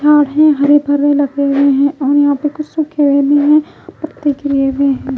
झाड़ है हरे भरे लगे हुए हैं और यहां पे कुछ सूखे हुए हैं पत्ते के लिए भी हैं।